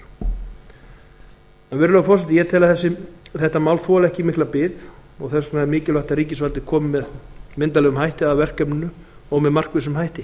sem þau hafa verið notuð til sjósóknar þetta mál þolir ekki mikla bið og mikilvægt er að ríkisvaldið komi myndarlega að verkefninu með markvissum hætti